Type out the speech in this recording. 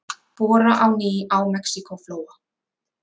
Bora á ný á Mexíkóflóa